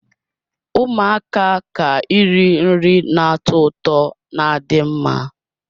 Ụmụaka ka iri nri na-atọ ụtọ na adị mma.